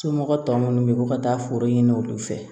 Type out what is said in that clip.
Somɔgɔ tɔ munnu bɛ bɔ ka taa foro ɲini olu fɛ